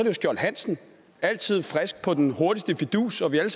jo skjold hansen altid frisk på den hurtigste fidus og vi ved